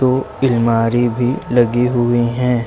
ओ इलमारी भी लगी हुई हैं।